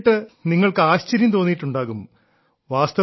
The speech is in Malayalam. ഇതു കേട്ടിട്ട് നിങ്ങൾക്ക് ആശ്ചര്യം തോന്നിയിട്ടുണ്ടാകും